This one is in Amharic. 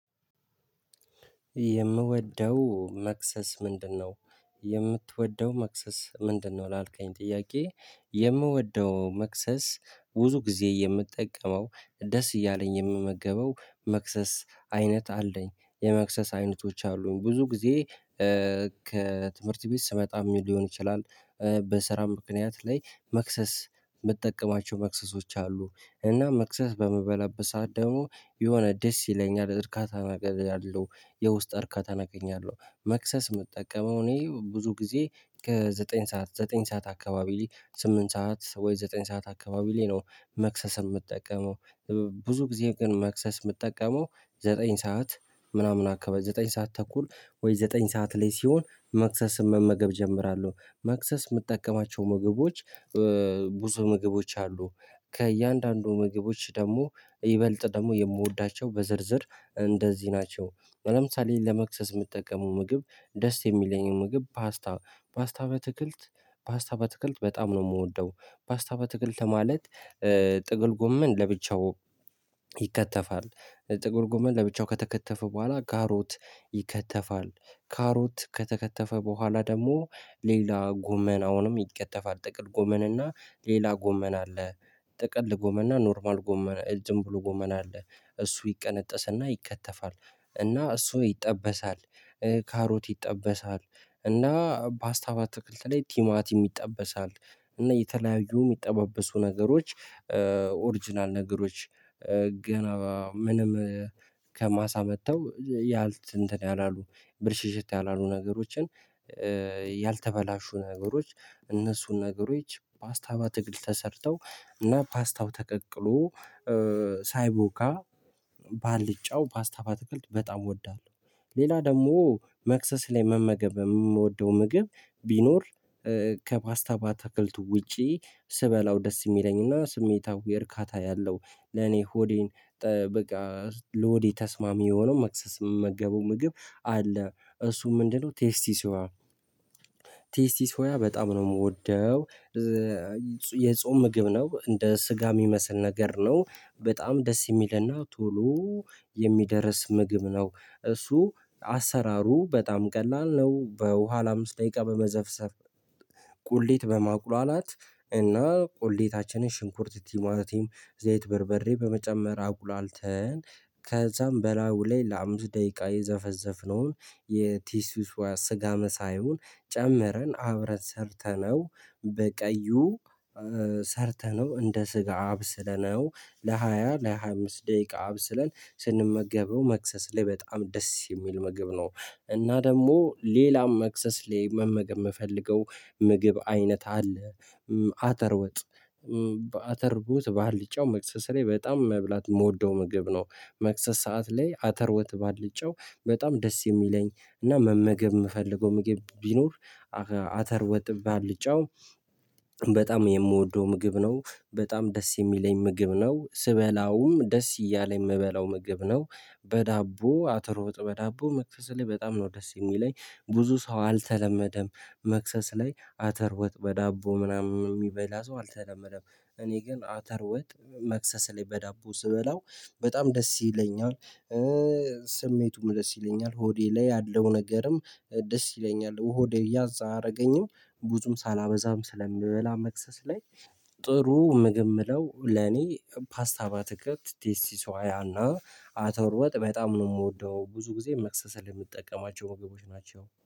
የምወደው መክሰስ ምንድነው? የምትወደው መክሰስ ምንድነው ላልከኝ ጥያቄ የምወደው መክሰስ ቡዙ ጊዜ የምጠቀመው ደስ እያለኝ የምመገበው መክሰስ አይነት አለኝ የመክሰስ አይነቶች አሉኝ ብዙ ጊዜ። ከትምህርት ቤት ስመጣም ሊሆን ይችላል። በስራም ምክንያት ላይ መክሰስ ምጠቀማቸው መክሰሶች አሉ እና መክሰስ በምበላበት ሰዓት ደሞ የሆነ ደስ ይለኛል እርካታ ነገር አለው። የውስጥ እርካታን አገኛለሁ። መክሰስ ምጠቀመው እኔ ብዙ ጊዜ ከዘጠኝ ሰዓት ዘጠኝ ሰዓት አካባቢ ላይ ስምንት ሰዓት ወይ ዘጠኝ ሰዓት አካባቢ ላይ ነው። መክሰስ እምጠቀመው። ብዙ ጊዜ ግን መክሰስ እምጠቀመው ዘጠኝ ሰዓት ምናምን አካባብ ዘጠኝ ሰዓት ተኩል ወይ ዘጠኝ ሰዓት ላይ ሲሆን መክሰስን መመገብ እጀምራለሁ። መክሰስ የምጠቀማቸው ምግቦች ቡዙ ምግቦች አሉ። ከእያንዳንዱ ምግቦች ደግሞ ይበልጥ ደግሞ የምወዳቸው በዝርዝር እንደዚህ ናቸው። ለምሳሌ ለመክሰስ እምጠቀመው ምግብ ደስ የሚለኝ ምግብ ፓስታ ፓስታ በትክልት ፓስታ ባትክልት በጣም ነው የምወደው። ፓስታ ባትክልት ማለት ጥቅል ጎመን ለብቻው ይከተፋል ጥቅል ጉመን ለብቻው ከተከተፈ በኋላ ካሮት ይከተፋል ካሮት ከተከተፈ በኋላ ደግሞ ሌላ ጎመን አሁንም ይከተፋል ጥቅል ጎመንና ሌላ ጎመን አለ። ጥቅል ጎመንና ኖርማል ጎመን ዝም ብሎ ጎመን አለ። እሱ ይቀነጠስና ይከተፋል እና እሱ ይጠበሳል። ካሮት ይጠበሳል እና ፓስታ ባትክልት ላይ ቲማቲም ይጠበሳል። እና የተለያዩ የሚጠባበሱ ነገሮች ኦሪጅናል ነገሮች ገና ምንም ከማሳ መጥተው ያልት እንትን ያላሉ ብልሽሽት ያላሉ ነገሮችን። ያልተበላሹ ነገሮች እነሱን ነገሮች ፓስታ ባትክልት ተሰርተው እና ፓስታው ተቀቅሎ ሳይቦካ ባልጫው ፓስታ ባትክልት በጣም እወዳለሁ። ሌላ ደግሞ መክሰስ ላይ መመገብ እምወደው ምግብ ቢኖር ከፓስታ ባታክልቱ ውጪ ስበላው ደስ የሚለኝና ስሜታዊ እርካታ ያለው ለኔ ሆዴን በቃ ለሆዴ ተስማሚ የሆነው መክሰስ እምመገበው ምግብ አለ። እሱም ምንድነው ቴስቲ ሶያ ቴስቲ ሶያ በጣም ነው የምወደው። የጾም ምግብ ነው እንደ ስጋ የሚመስል ነገር ነው በጣም ደስ የሚልና ቶሎ የሚደርስ ምግብ ነው። እሱ አሰራሩ በጣም ቀላል ነው። በውሃ ለአምስት ደቂቃ በመዘፍሰፍ ቁሌት በማቁላላት እና ቁሌታችንን ሽንኩርት ቲማቲም ዘይት በርበሬ በመጨመር አቁላልተን ከዛም በላው ላይ ለአምስት ደቂቃ የዘፈዘፍነውን የቴስቲ ሶያ ስጋ መሳዩን ጨምረን አብረን ሰርተነው በቀዩ ሰርተነው እንደ ስጋ አብስለነው ለሃያ ለሃያ አምስት ደቂቃ አብስለን ስንመገበው መክሰስ ላይ በጣም ደስ የሚል ምግብ ነው። እና ደግሞ ሌላም መክሰስ ላይ መመገብ ምፈልገው ምግብ አይነት አለ። አተር ወጥ በአተር ቡት በአልጫው መክሰስ ላይ በጣም መብላት የምወደው ምግብ ነው። መክሰስ ሰዓት ላይ አተር ወጥ ባልጫው በጣም ደስ የሚለኝ እና መመገብ ምፈልገው ምግብ ቢኖር አተር ወጥ ባልጫው በጣም የምወደው ምግብ ነው በጣም ደስ የሚለኝ ምግብ ነው ስበላውም ደስ እያለኝ ምበላው ምግብ ነው። በዳቦ አተር ወጥ በዳቦ መክሰስ ላይ በጣም ነው ደስ የሚለኝ ብዙ ሰው አልተለመደም። መክሰስ ላይ አተር ወጥ በዳቦ ምናምን እሚበላ ሰው አልተለመደም እኔ ግን አተር ወጥ መክሰስ ላይ በዳቦ ስበላው በጣም ደስ ይለኛል። ስሜቱም ደስ ይለኛል ሆዴ ላይ ያለው ነገርም ደስ ይለኛል ሆዴ ያዝ አያረገኝም ቡዙም ሳላበዛም ስለምበላ መክሰስ ላይ። ጥሩ ምግብ ምለው ለኔ ፓስታ ባትከልት ቴስቲ ሶያና አተር ወጥ በጣም ነው ምወደው ብዙ ጊዜ መክሰስ ላይ ምጠቀማቸው ምግቦች ናቸው